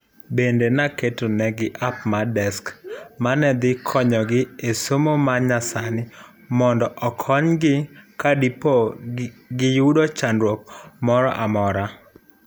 Bende naketo nigi app mar desk manedhi konyogi e somo mar nyasani mondo okonygi kadipo giyudo chandruok moro amora,